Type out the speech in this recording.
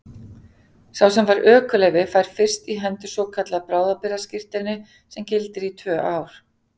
Sá sem fær ökuleyfi fær fyrst í hendur svokallað bráðabirgðaskírteini sem gildir í tvö ár.